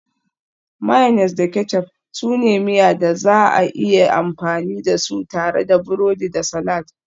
Mayonnaise da ketchup su ne miya da za a iya amfani da su tare da burodi da salad